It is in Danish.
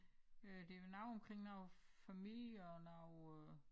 Øh det vel noget omkring noget familie og noget øh